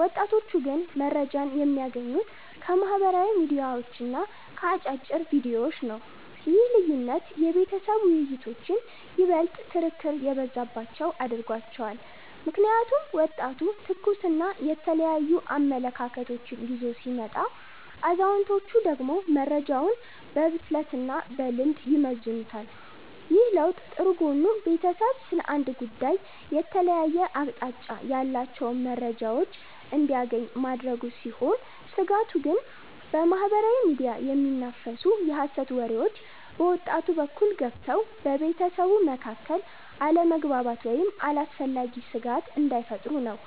ወጣቶቹ ግን መረጃን የሚያገኙት ከማኅበራዊ ሚዲያዎችና ከአጫጭር ቪዲዮዎች ነው። ይህ ልዩነት የቤተሰብ ውይይቶችን ይበልጥ ክርክር የበዛባቸው አድርጓቸዋል። ምክንያቱም ወጣቱ ትኩስና የተለያዩ አመለካከቶችን ይዞ ሲመጣ፣ አዛውንቶቹ ደግሞ መረጃውን በብስለትና በልምድ ይመዝኑታል። ይህ ለውጥ ጥሩ ጎኑ ቤተሰቡ ስለ አንድ ጉዳይ የተለያየ አቅጣጫ ያላቸውን መረጃዎች እንዲያገኝ ማድረጉ ሲሆን፤ ስጋቱ ግን በማኅበራዊ ሚዲያ የሚናፈሱ የሐሰት ወሬዎች በወጣቱ በኩል ገብተው በቤተሰቡ መካከል አለመግባባት ወይም አላስፈላጊ ስጋት እንዳይፈጥሩ ነው።